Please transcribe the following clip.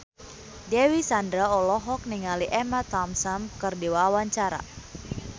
Dewi Sandra olohok ningali Emma Thompson keur diwawancara